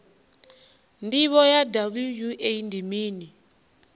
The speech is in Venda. ndivho ya wua ndi mini